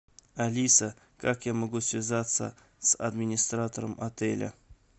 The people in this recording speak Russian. алиса как я могу связаться с администратором отеля